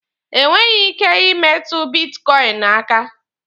Enweghi ike imetụ bitkọịnị aka.